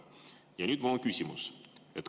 Ja mul on küsimus.